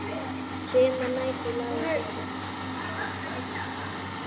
Sumar nætur lágu þeir klukku